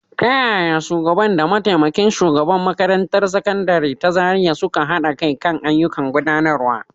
Ta yaya shugaba da mataimakin shugaban makarantar Sakandare ta Zariya suka haɗa kai kan ayyukan gudanarwa.